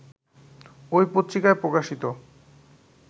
ঐ পত্রিকায় প্রকাশিত